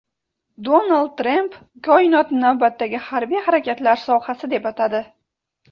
Donald Tramp koinotni navbatdagi harbiy harakatlar sohasi deb atadi.